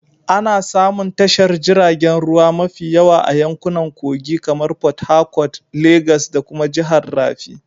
Ana samun tashar jiragen ruwa mafi yawa a yankunan kogi kamar porthercourt, Legas da kuma jihar rafi